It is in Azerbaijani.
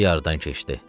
Gecə yarıdan keçdi.